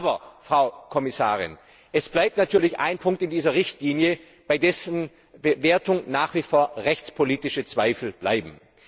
Aber, Frau Kommissarin, es bleibt natürlich ein Punkt in dieser Richtlinie, bei dessen Wertung nach wie vor rechtspolitische Zweifel bleiben.